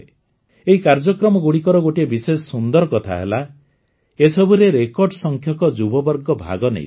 ଏହି କାର୍ଯ୍ୟକ୍ରମଗୁଡ଼ିକର ଗୋଟିଏ ବିଶେଷ ସୁନ୍ଦର କଥା ହେଲା ଏସବୁରେ ରେକର୍ଡ଼ ସଂଖ୍ୟକ ଯୁବବର୍ଗ ଭାଗ ନେଇଥିଲେ